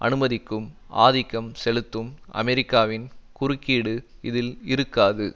அனுமதிக்கும் ஆதிக்கம் செலுத்தும் அமெரிக்காவின் குறுக்கீடு இதில் இருக்காது